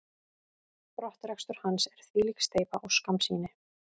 Brottrekstur hans er þvílík steypa og skammsýni.